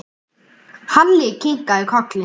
Halli kinkaði kolli.